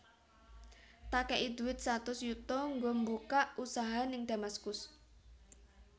Tak kei duit satus yuto nggo mbukak usaha ning Damaskus